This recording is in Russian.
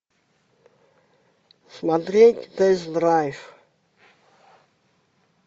смотреть тест драйв